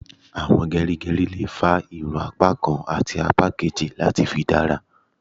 Àwọn gerigeri lè fà irun apá kán àti apá kejì láti fi dára